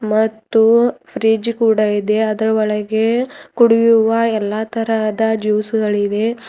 ಮತ್ತು ಫ್ರಿಡ್ಜ್ ಕೂಡ ಇದೆ ಅದರ ಒಳಗೆ ಕುಡಿಯುವ ಎಲ್ಲಾ ತರಹದ ಜ್ಯೂಸ್ ಗಳಿವೆ.